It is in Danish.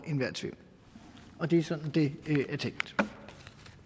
enhver tvivl og det er sådan det